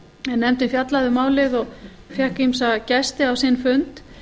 nefndin fjallaði um málið og fékk ýmsa gesti á sinn fund